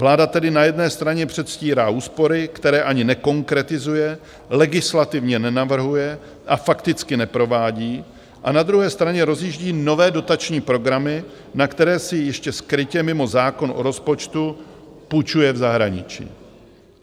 Vláda tedy na jedné straně předstírá úspory, které ani nekonkretizuje, legislativně nenavrhuje a fakticky neprovádí, a na druhé straně rozjíždí nové dotační programy, na které si ještě skrytě mimo zákon o rozpočtu půjčuje v zahraničí.